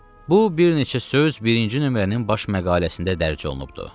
Bu bir neçə söz birinci nömrənin baş məqaləsində dərc olunubdur.